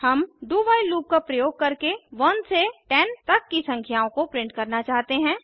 हम do while loop का प्रयोग करके 1 से 10 तक की संख्याओं को प्रिंट करना चाहते हैं